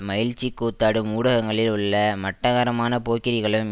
மகிழ்ச்சி கூத்தாடும் ஊடகங்களில் உள்ள மட்டரகமான போக்கிரிகளும்